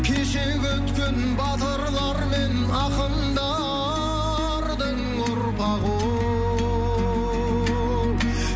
кешегі өткен батырлар мен ақындардың ұрпағы ол